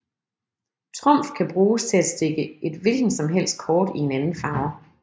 Trumf kan bruges til at stikke et hvilken som helst kort i en anden farve